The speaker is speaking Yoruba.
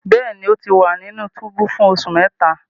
Bẹẹni, O ti wa ninu tubu fun oṣu mẹta